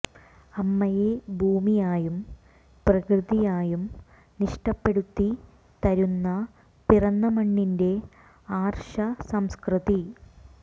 അമ്മയെ ഭൂമിയായും പ്രകൃതിയായും നിഷ്ഠപ്പെടുത്തി തരുന്ന പിറന്ന മണ്ണിന്റെ ആര്ഷ സംസ്കൃതി